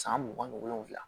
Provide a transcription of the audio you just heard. San mugan ni wolonwula